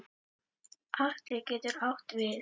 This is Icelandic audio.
Atli getur átt við